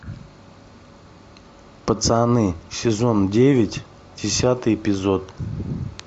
пацаны сезон девять десятый эпизод